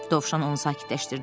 Dovşan onu sakitləşdirdi.